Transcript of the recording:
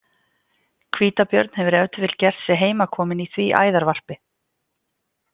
Hvítabjörn hefur ef til vill gert sig heimakominn í því æðarvarpi.